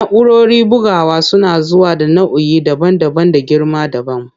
Na'urorin bugawa suna zuwa da nau'i daban-daban da girma dabam.